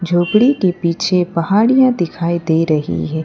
झोपड़ी के पीछे पहाड़ियां दिखाई दे रही हैं।